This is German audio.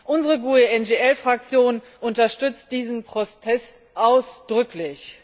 Unsere GUE NGL Fraktion unterstützt diesen Protest ausdrücklich!